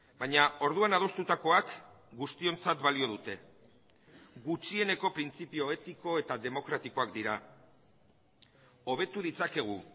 baina orduan adostutakoak guztiontzat balio dute gutxieneko printzipio etiko eta demokratikoak dira hobetu ditzakegu